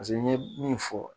paseke n ɲe min fɔ